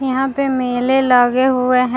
यहाँ पे मेले लगे हुए है ।